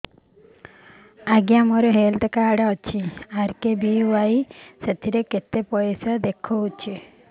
ଆଜ୍ଞା ମୋର health card ଅଛି ଆର୍.କେ.ବି.ୱାଇ ସେଥିରେ କେତେ ପଇସା ଦେଖଉଛି